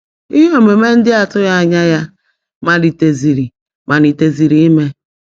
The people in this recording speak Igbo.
Ihe omume ndị atụghị anya ha maliteziri maliteziri ime.